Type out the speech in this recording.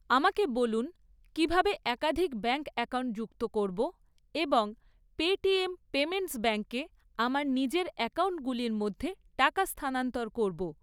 আমাকে বলুন কীভাবে একাধিক ব্যাঙ্ক অ্যাকাউন্ট যুক্ত করব এবং পেটিএম পেমেন্টস ব্যাঙ্কে আমার নিজের অ্যাকাউন্টগুলির মধ্যে টাকা স্থানান্তর করব।